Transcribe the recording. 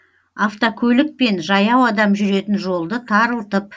автокөлік пен жаяу адам жүретін жолды тарылтып